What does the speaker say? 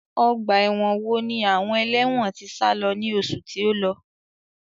Ọgbà ẹ̀wọ̀n wo ni àwọn ẹlẹ́wọ̀n tí sálo ní oṣù tí ó lọ?